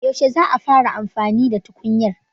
Yaushe za a fara amfani da tukunyar